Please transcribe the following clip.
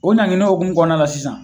O o hukumu kɔnɔna la sisan